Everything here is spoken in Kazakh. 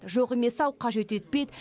жоқ емес ау қажет етпейді